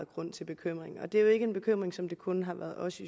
grund til bekymring og det er jo ikke en bekymring som det kun har været os i